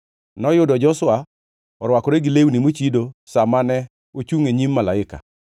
Noyudo Joshua orwakore gi lewni mochido sa mane ochungʼ e nyim malaika.